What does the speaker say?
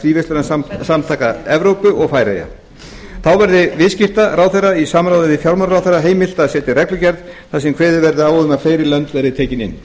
fríverslunarsamtaka evrópu eða færeyja þá verði viðskiptaráðherra í samráði við fjármálaráðherra heimilt að setja reglugerð þar sem kveðið verði á um að fleiri lönd verði tekin inn